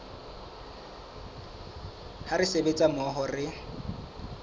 ha re sebetsa mmoho re